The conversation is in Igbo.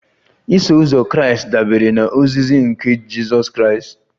Iso uzọ Kraịst dabere na ozizi nke Jizọs Kraịst